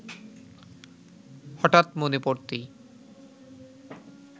হঠাৎ মনে পড়তেই